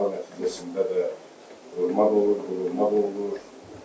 Bağa nəticəsində də vurmaq olur, vurulmaq olur.